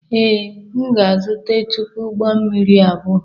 Ee, m ga-ezute tupu ụgbọ mmiri apụọ.